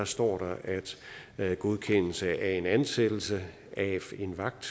står der at godkendelse af en ansættelse af en vagt